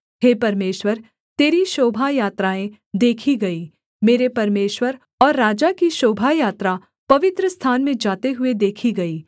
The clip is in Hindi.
हे परमेश्वर तेरी शोभायात्राएँ देखी गई मेरे परमेश्वर और राजा की शोभा यात्रा पवित्रस्थान में जाते हुए देखी गई